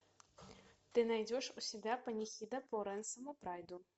ты найдешь у себя панихида по рэнсому прайду